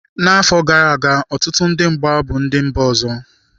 N'afọ gara aga, ọtụtụ ndị mgba bụ ndị mba ọzọ.